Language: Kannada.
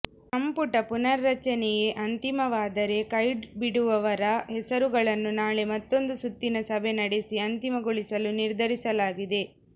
ಸಂಪುಟ ಪುನಾರಚನೆಯೇ ಅಂತಿಮವಾದರೆ ಕೈಬಿಡುವವರ ಹೆಸರುಗಳನ್ನು ನಾಳೆ ಮತ್ತೊಂದು ಸುತ್ತಿನ ಸಭೆ ನಡೆಸಿ ಅಂತಿಮಗೊಳಿಸಲು ನಿರ್ಧರಿಸಲಾಗಿದೆ